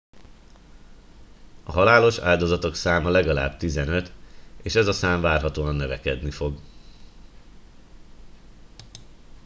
a halálos áldozatok száma legalább 15 és ez a szám várhatóan növekedni fog